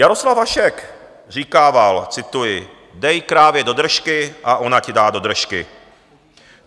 Jaroslav Hašek říkával, cituji: "Dej krávě do držky a ona ti dá do držky."